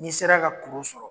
N'i sera ka kuru sɔrɔ